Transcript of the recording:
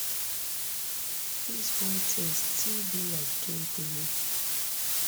dis whole tin still be like dream to me